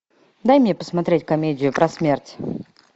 дай мне посмотреть комедию про смерть